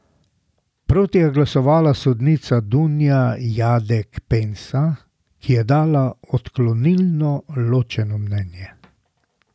Proti je glasovala sodnica Dunja Jadek Pensa, ki je dala odklonilno ločeno mnenje.